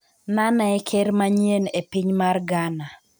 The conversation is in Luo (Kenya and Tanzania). Nana e ker manyien e piny mar Ghana